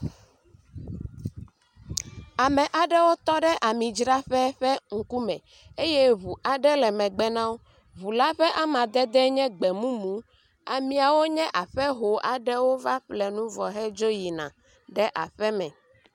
Ame aɖewo tɔ ɖe amidzraƒe ƒe ŋkume eye ŋu aɖe le megbe na wo. Ŋu la ƒe amadede nye gbemumu ameawo nye aƒeho aɖewo va ƒle nu vɔ hedzo yina.